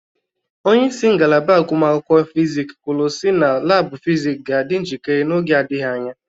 Onyeisi ngalaba agụmakwụkwọ Fizik kwulu si na laabụ Fizik ga adị njikere n'oge adịghị anya.